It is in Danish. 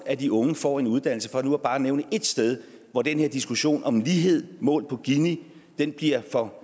at de unge får en uddannelse for nu bare at nævne ét sted hvor den her diskussion om lighed målt på gini bliver for